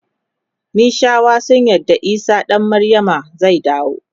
mishawa sun yarda isah dan maryama zai dawo